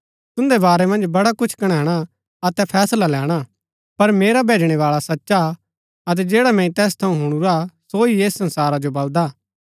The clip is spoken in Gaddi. तून्दै वारै मन्ज बडा कुछ कणैणा अतै फैसला लैणा हा पर मेरा भैजणैबाळा सचा हा अतै जैडा मैंई तैस थऊँ हुणुरा सो ही ऐस संसारा जो बलदा